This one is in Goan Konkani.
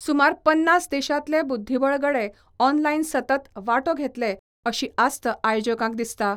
सुमार पन्नास देशांतले बुद्धीबळ गडे ऑनलायन सतत वांटो घेतले अशी आस्त आयोजकांक दिसता.